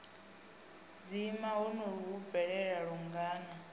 dzima honoho hu bvelela lungana